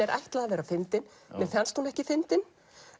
er ætlað að vera fyndin mér fannst hún ekki fyndin